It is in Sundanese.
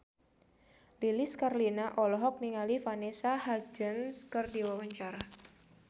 Lilis Karlina olohok ningali Vanessa Hudgens keur diwawancara